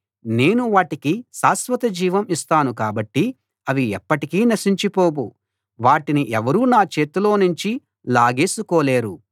నేను వాటికి శాశ్వత జీవం ఇస్తాను కాబట్టి అవి ఎప్పటికీ నశించిపోవు వాటిని ఎవరూ నా చేతిలోనుంచి లాగేసుకోలేరు